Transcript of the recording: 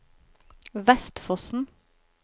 Vestfossen